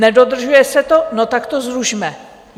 Nedodržuje se to - no tak to zrušme!